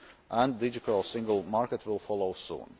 union, and the digital single market will follow soon.